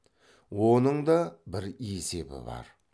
оның да бір есебі бар